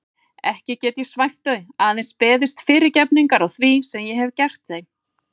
Ekki get ég svæft þau, aðeins beðist fyrirgefningar á því sem ég hef gert þeim.